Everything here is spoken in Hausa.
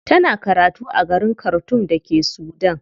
Tana karatu a garin khartoum da ke Sudan.